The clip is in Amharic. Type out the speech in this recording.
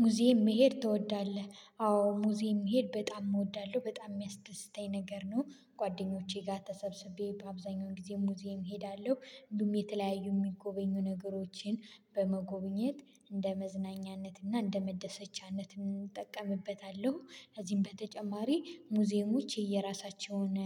ሙዚየም መሄድ ትወዳለህ? አዎ ሙዚየም መሄድ በጣም እወዳለሁ በጣም የሚያስደስተኝ ነገር ነው። ጓደኞቼ ጋር ተሰብስቤ በአብዛኛው ጊዜ ሙዚየም እሄዳለሁ እንዲሁም የተለያዩ የሚጎበኙ ነገሮችን በመጎብኘት እንደ መዝናኛነት እና እንደ መደሰቻነት እንጠቀምበታለሁ። ከዚህም በተጨማሪ ሙዚየሞች የየራሳቸውን